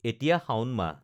এতিয়া শাওণ মাহ